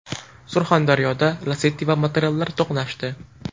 Surxondaryoda Lacetti va motoroller to‘qnashdi.